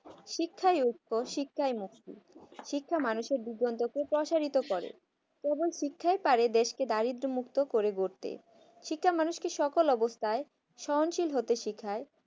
শিক্ষায় শিক্ষায় মুক্তি শিক্ষা মানুষের জীবন টাকে প্রসারিত করে এবং শিক্ষায় পারে দেশকে দারিদ্র মুক্ত করে গড়তে শিক্ষা মানুষকে সকল অবস্থায় সহনশীল হতে শিখায়